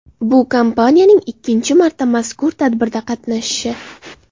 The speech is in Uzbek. Bu kompaniyaning ikkinchi marta mazkur tadbirda qatnashishi.